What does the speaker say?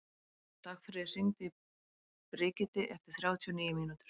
Dagfríður, hringdu í Brigiti eftir þrjátíu og níu mínútur.